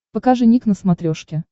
покажи ник на смотрешке